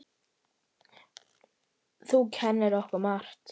Þú kenndir okkur margt.